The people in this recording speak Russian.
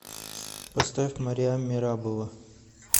поставь мариам мерабова